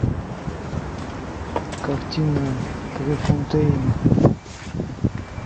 картина префонтейн